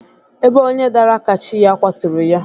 Ebe onye dara ka chi ya kwaturu ya